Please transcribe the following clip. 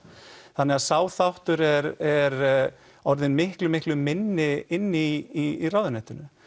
þannig sá þáttur er er orðinn miklu miklu minni inni í ráðuneytinu